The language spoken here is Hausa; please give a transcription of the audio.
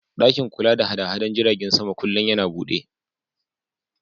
Ɗakin kula da haɗada jiragen sama kullin yana buɗe